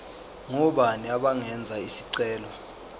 ngobani abangenza isicelo